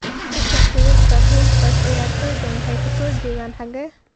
Isha sawirka , Reuters ciyaartoydan waxay ka soo jeedan xagee?